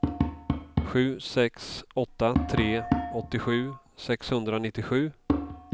sju sex åtta tre åttiosju sexhundranittiosju